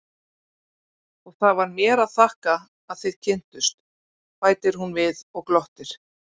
Og það var mér að þakka að þið kynntust, bætir hún við og glottir.